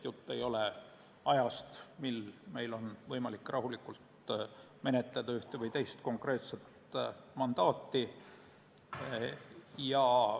Jutt ei ole ajast, mil meil on võimalik rahulikult menetleda ühte või teist konkreetset mandaati.